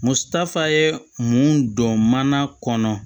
Musaka ye mun don mana kɔnɔ